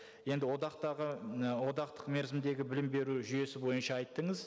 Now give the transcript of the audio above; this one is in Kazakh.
енді одақтағы і одақтық мерзімдегі білім беру жүйесі бойынша айттыңыз